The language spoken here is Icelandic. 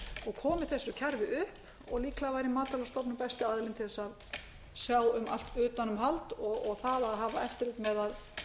og komið þessu kerfi upp og líklega væri matvælastofnun besti aðilinn til að sjá um allt utanumhald og það að hafa eftirlit með að